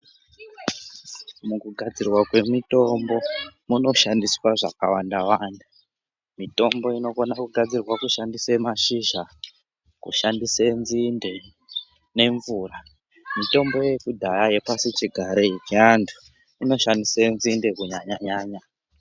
Kugadzirwa kwemitombo kuanoshandiswa zvakawanda-wanda. Mitombo inogone kugadzirwa kuchishandiswa mashizhe, kushandise nzi nde nemvura. Mitombo yedhaya yepasichigare inoshandise nzinde kunyanya-nyanya.